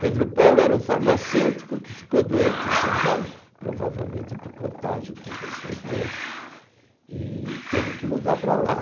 Pedro Paulo era um farmacêutico que ficou doente em São Paulo, provavelmente por contágio com pessoas doentes, e teve que mudar para lá.